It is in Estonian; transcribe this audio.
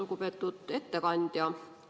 Lugupeetud ettekandja!